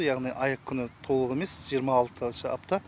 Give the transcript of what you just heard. яғни ай күні толық емес жиырма алтыншы апта